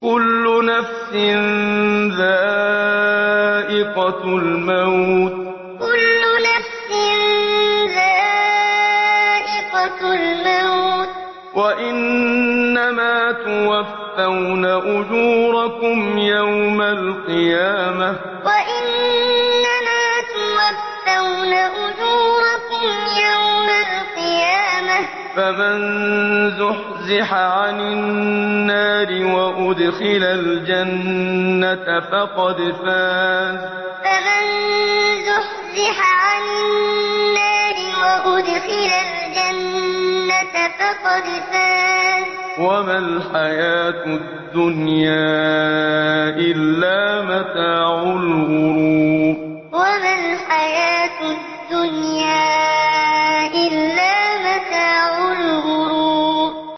كُلُّ نَفْسٍ ذَائِقَةُ الْمَوْتِ ۗ وَإِنَّمَا تُوَفَّوْنَ أُجُورَكُمْ يَوْمَ الْقِيَامَةِ ۖ فَمَن زُحْزِحَ عَنِ النَّارِ وَأُدْخِلَ الْجَنَّةَ فَقَدْ فَازَ ۗ وَمَا الْحَيَاةُ الدُّنْيَا إِلَّا مَتَاعُ الْغُرُورِ كُلُّ نَفْسٍ ذَائِقَةُ الْمَوْتِ ۗ وَإِنَّمَا تُوَفَّوْنَ أُجُورَكُمْ يَوْمَ الْقِيَامَةِ ۖ فَمَن زُحْزِحَ عَنِ النَّارِ وَأُدْخِلَ الْجَنَّةَ فَقَدْ فَازَ ۗ وَمَا الْحَيَاةُ الدُّنْيَا إِلَّا مَتَاعُ الْغُرُورِ